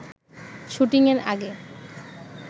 শুটিংয়ের আগে